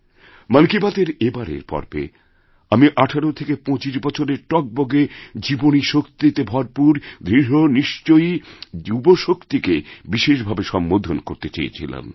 মন কি বাতএর এবারের পর্বে আমি ১৮ থেকে ২৫ বছরের টগবগেজীবনীশক্তিতে ভরপুর দৃঢ় নিশ্চয়ী যুবাশক্তিকে বিশেষ ভাবে সম্বোধন করতে চেয়েছিলাম